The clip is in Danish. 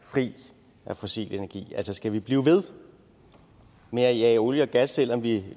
fri af fossil energi altså skal vi blive ved med at jage olie og gas selv om vi